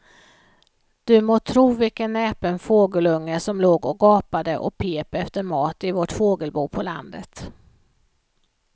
Du må tro vilken näpen fågelunge som låg och gapade och pep efter mat i vårt fågelbo på landet.